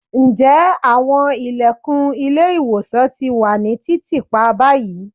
njẹ awọn ilẹkun ile-iwosan ti wà ni titiipa bayi